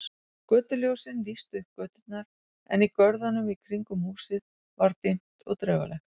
Götuljósin lýstu upp göturnar en í görðunum í kringum húsin var dimmt og draugalegt.